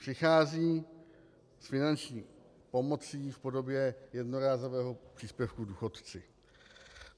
Přichází s finanční pomocí v podobě jednorázového příspěvku důchodci.